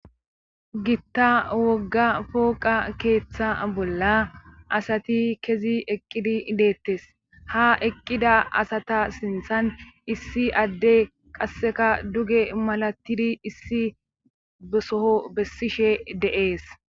Gita wogga pooqa keeththa bolla asati kezi eqqidi deettes ha eqqida asata sinthan issi adde qasseka duge malatidi issi besoho bessishe de'ess.